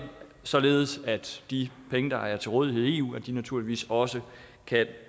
således at de penge der er til rådighed i eu naturligvis også kan